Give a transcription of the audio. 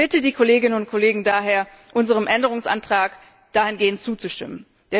Ich bitte die Kolleginnen und Kollegen daher, unserem Änderungsantrag dahingehend zuzustimmen.